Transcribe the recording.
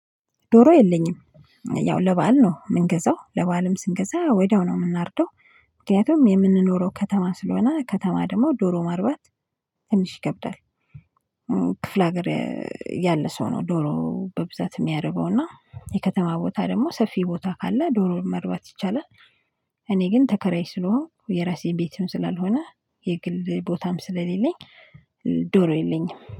ዶሮ የለኝም ያው ለበአል ነው የምንገዛው ለበአልም ስንገዛ ወዲያው ነው የምናርደው። ምክንያቱም የምንኖረው ከተማ ስለሆነ ከተማ ደግሞ ዶሮ ማርባት ትንሽ ይከብዳል። ክፍለ ሀገር ያለ ሰው ነው ዶሮ በብዛት የሚያረባው እና የከተማ ቦታ ደግሞ ሰፊ ቦታ ካለ ዶሮ መርባት ይቻላል። እኔ ግን ተከራይ ስለሆንኩ የራሴ ቤትም ስላልሆነ የግል ቦታም ስለሌለኝ ዶሮ የለኝም